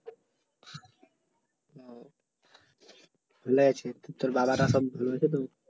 ভালো আছে তোর বাবারা সব ভালো আছে তো